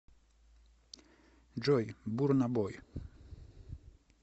джой бурна бой